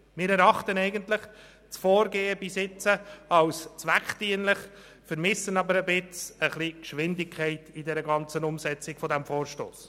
Wir erachten das bisherige Vorgehen als zweckdienlich, vermissen aber etwas die Geschwindigkeit in der ganzen Umsetzung dieses Vorstosses.